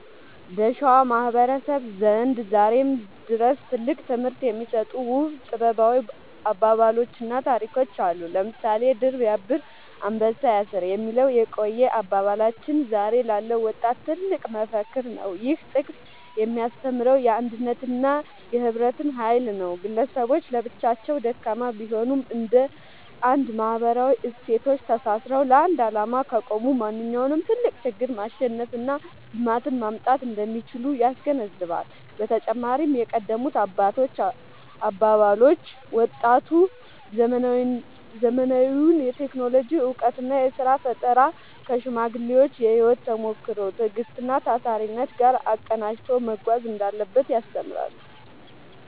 በሸዋ ማህበረሰብ ዘንድ ዛሬም ድረስ ትልቅ ትምህርት የሚሰጡ ውብ ጥበባዊ አባባሎችና ታሪኮች አሉ። ለምሳሌ «ድር ቢያብር አንበሳ ያስር» የሚለው የቆየ አባባላችን ዛሬ ላለው ወጣት ትልቅ መፈክር ነው። ይህ ጥቅስ የሚያስተምረው የአንድነትንና የህብረትን ኃይል ነው። ግለሰቦች ለብቻቸው ደካማ ቢሆኑም፣ እንደ አንድ ማህበራዊ እሴቶች ተሳስረው ለአንድ ዓላማ ከቆሙ ማንኛውንም ትልቅ ችግር ማሸነፍና ልማትን ማምጣት እንደሚችሉ ያስገነዝባል። በተጨማሪም የቀደሙት አባቶች አባባሎች፣ ወጣቱ ዘመናዊውን የቴክኖሎጂ እውቀትና የሥራ ፈጠራ ከሽማግሌዎች የህይወት ተሞክሮ፣ ትዕግስትና ታታሪነት ጋር አቀናጅቶ መጓዝ እንዳለበት ያስተምራሉ።